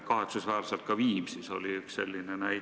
Kahetsusväärselt oli ka Viimsis üks selline juhtum.